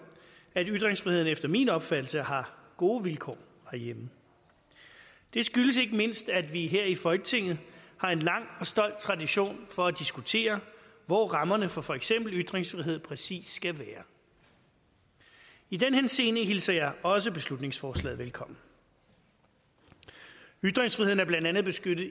at ytringsfriheden efter min opfattelse har gode vilkår herhjemme det skyldes ikke mindst at vi her i folketinget har en lang og stolt tradition for at diskutere hvor rammerne for for eksempel ytringsfrihed præcis skal være i den henseende hilser jeg også beslutningsforslaget velkommen ytringsfriheden er blandt andet beskyttet